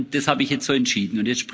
Das habe ich jetzt so entschieden.